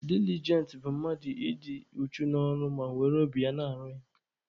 Dilijent bụ mmadụ ị dị uchu n'ọrụ ma were obi ya na-arụ ya.